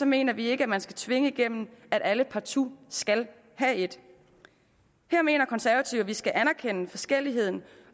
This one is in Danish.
mener vi ikke at man skal tvinge igennem at alle partout skal have et her mener konservative at vi skal anerkende forskelligheden